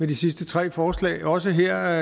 de sidste tre forslag også her